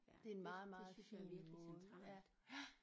Det en meget meget fin måde ja ja